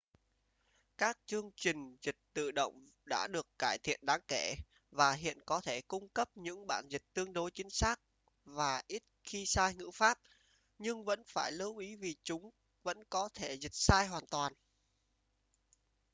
các chương trình dịch tự động đã được cải thiện đáng kể và hiện có thể cung cấp những bản dịch tương đối chính xác và ít khi sai ngữ pháp nhưng vẫn phải lưu ý vì chúng vẫn có thể dịch sai hoàn toàn